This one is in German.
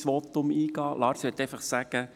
Lars Guggisberg, ich möchte einfach sagen: